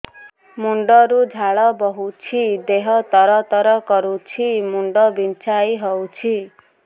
ମୁଣ୍ଡ ରୁ ଝାଳ ବହୁଛି ଦେହ ତର ତର କରୁଛି ମୁଣ୍ଡ ବିଞ୍ଛାଇ ହଉଛି